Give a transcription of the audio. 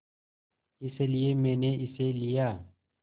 इसलिए मैंने इसे लिया